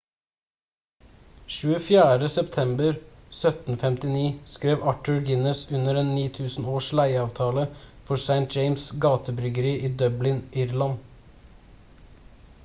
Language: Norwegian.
24. september 1759 skrev arthur guinness under en 9000-års leieavtale for st james' gate-bryggeri i dublin irland